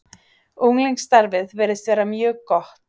Unglingastarfið virðist vera mjög gott.